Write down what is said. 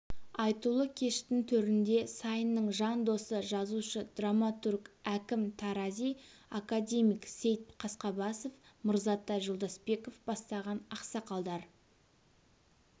айтулы кештің төрінде сайынның жан досы жазушы-драматург әкім тарази академик сейт қасқабасов мырзатай жолдасбеков бастаған ақсақалдар